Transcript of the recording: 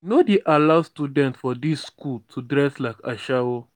we no dey allow students for dis skool to dress like ashawo.